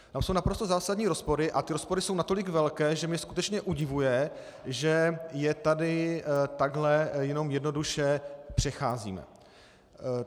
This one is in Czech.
Tam jsou naprosto zásadní rozpory a ty rozpory jsou natolik velké, že mě skutečně udivuje, že je tady takhle jenom jednoduše přecházíme.